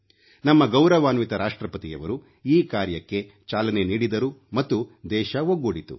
ನಮ್ಮ ಗೌರವಾನ್ವಿತ ರಾಷ್ಟ್ರಪತಿಯವರು ಈ ಕಾರ್ಯಕ್ಕೆ ಚಾಲನೆ ನೀಡಿದರು ಮತ್ತು ದೇಶ ಒಗ್ಗೂಡಿತು